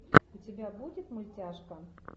у тебя будет мультяшка